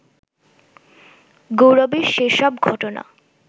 গৌরবের সেসব ঘটনা